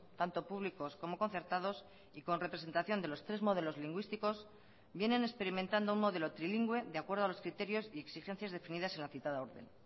tanto públicos como concertados y con representación de los tres modelos lingüísticos vienen experimentando un modelo trilingüe de acuerdo a los criterios y exigencias definidas en la citada orden